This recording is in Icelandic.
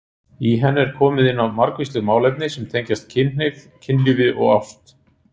Í henni er komið inn á margvísleg málefni sem tengjast kynhneigð, kynlífi og ást.